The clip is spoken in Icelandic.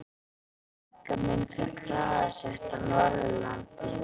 Frænka mín fékk hraðasekt á Norðurlandi.